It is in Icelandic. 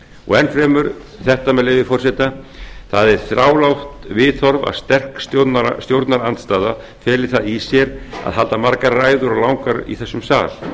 og enn fremur þetta með leyfi forseta það er þrálátt viðhorf að sterk stjórnarandstaða feli það í sér að halda margar ræður og langar í þessum sal